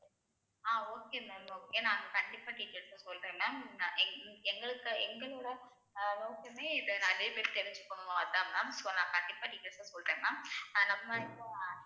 ஆஹ் okay mam okay நான் கண்டிப்பா details ஆ சொல்றேன் mam அ எங்~ எங்களுக்கு எங்களோட அஹ் நோக்கமே இதை நிறைய பேர் தெரிஞ்சுக்கணும் அதான் mam so நான் கண்டிப்பா details அ சொல்றேன் mam நம்ம இப்போ